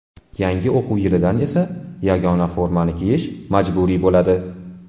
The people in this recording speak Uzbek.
Yangi o‘quv yilidan esa yagona formani kiyish majburiy bo‘ladi.